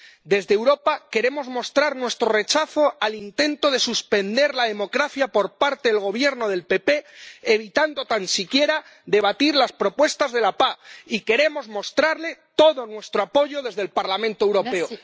Desde Europa queremos mostrar nuestro rechazo al intento de suspender la democracia por parte del Gobierno del PP evitando tan siquiera debatir las propuestas de la PAH, a la que queremos mostrar todo nuestro apoyo desde el Parlamento Europeo.